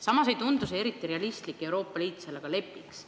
Samas ei tundu eriti realistlik, et Euroopa Liit sellega lepiks.